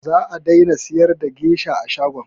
Za a daina siyar da gesha a shagon